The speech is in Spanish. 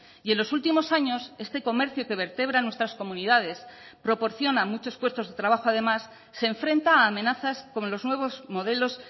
y en los últimos años este comercio que vertebra nuestras comunidades proporciona muchos puestos de trabajo además se enfrenta a amenazas con los nuevos modelos